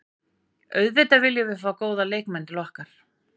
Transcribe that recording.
Auðvitað viljum við fá góða leikmenn til okkar.